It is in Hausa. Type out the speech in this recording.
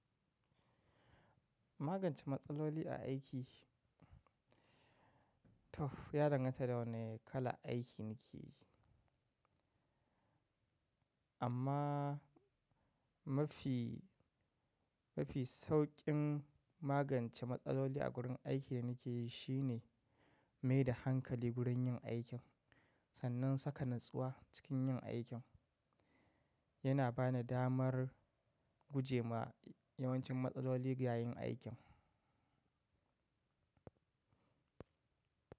Magance matsaloli a aiki, toh ya danganta da wane kalan aiki nake yi. Amma mafi, mafi sauƙin magance matsaloli a gurin aiki da nike yi shine mai da hankali gurin yin aikin sannan saka natsuwa cikin yin aikin. Yana bani damar gujema yawancin matsaloli yayin aikin.